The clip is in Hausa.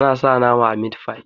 ana sa nama a mit fi